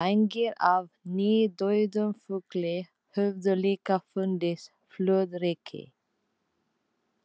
Vængir af nýdauðum fugli höfðu líka fundist flóðreki.